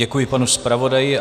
Děkuji panu zpravodaji.